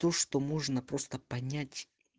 то что можно просто понять